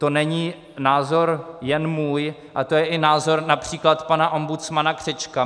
To není názor jen můj, ale to je i názor například pana ombudsmana Křečka.